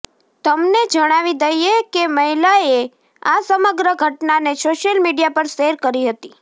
તમને જણાવી દઈએ કે મહિલાએ આ સમગ્ર ઘટનાને સોશિયલ મીડિયા પર શેર કરી હતી